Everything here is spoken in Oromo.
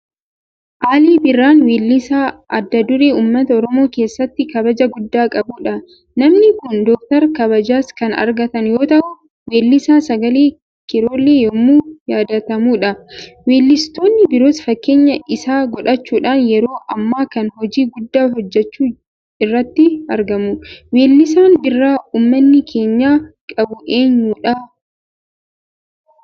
Aliin Birraa weellisaa adda duree uummata Oromoo keessatti kabaja guddaa qabudha. Namni kun Doktara kabajaas kan argatan yoota'u; Weellisaa sagalee kiirolee yoomuu yaadatamudha. Weellistoonni biroos fakkeenya isaan godhachuudhaan yeroo ammaa kana hojii guddaa hojjechuu irratti argamu. Weellisaan biraa uummanni keenya qabu eenyudha?